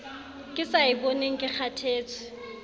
ke sa eboneng ke kgathetse